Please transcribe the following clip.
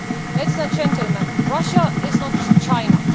Ladies and gentlemen, Russia is not China.